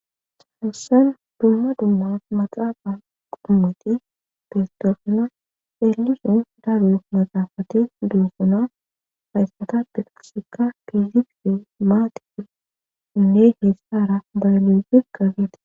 Chaansan dumma dumma maxaafa qommati festofna eelisun daru maxaafati duusuna hayssata peqasikka fiizifi maati inne hessara baylefi qabeete